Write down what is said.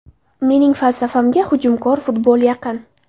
Mening falsafamga hujumkor futbol yaqin.